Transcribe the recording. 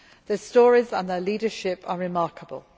Their stories and their leadership are remarkable.